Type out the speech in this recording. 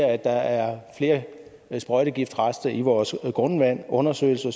at der er flere sprøjtegiftrester i vores grundvand og undersøgelser